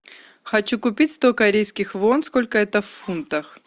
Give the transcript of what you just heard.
хочу купить сто корейских вон сколько это в фунтах